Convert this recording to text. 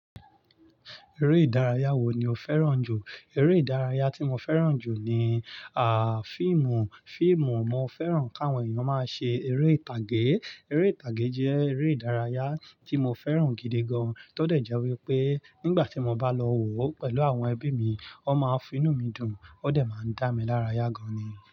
Eré ìdárayá wo ni o fẹ́ràn jù? Eré ìdárayá tí mo fẹ́ràn jù ni, à, fíìmù, fíìmù. Mo fẹ́ràn kí àwọn èèyàn máa ṣe eré ìtàgé. Eré ìtàgé jẹ́ eré ìdárayá tí mo fẹ́ràn gidi gan, tó dẹ̀ jẹ́ wípé nígbà tí mo bá lọ wò ó pẹ̀lú àwọn ẹbí mi, ó máa finú mi dùn ó dẹ̀ máa ń dá mi lárayá gan ni.